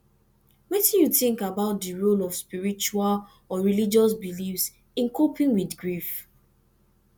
wetin you think about di role of spiritual or religious beliefs in coping with grief